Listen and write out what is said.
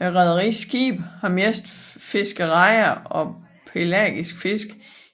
Rederiets skibe har mest fisket rejer og pelagisk fisk